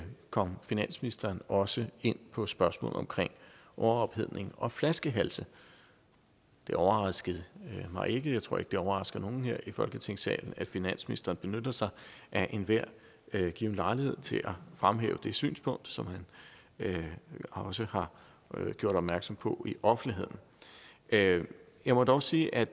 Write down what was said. kom finansministeren også ind på spørgsmålet om overophedning og flaskehalse det overrasker mig ikke jeg tror ikke det overrasker nogen her i folketingssalen at finansministeren benytter sig af enhver given lejlighed til at fremhæve det synspunkt som han også har gjort opmærksom på i offentligheden jeg jeg må dog sige at